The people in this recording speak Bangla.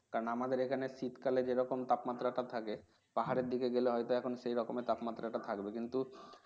কারণ আমাদের এখানে শীতকালে যেরকম তাপমাত্রাটা থাকে পাহাড়ের দিকে গেলে হয়তো এখন সেই রকমের তাপমাত্রা টা থাকবে কিন্তু